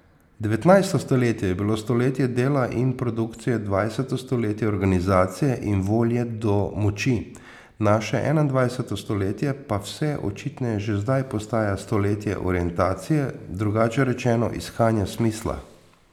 Devetnajsto stoletje je bilo stoletje dela in produkcije, dvajseto stoletje organizacije in volje do moči, naše enaindvajseto stoletje pa vse očitneje že zdaj postaja stoletje orientacije, drugače rečeno, iskanja smisla.